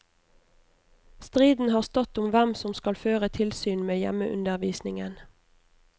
Striden har stått om hvem som skal føre tilsyn med hjemmeundervisningen.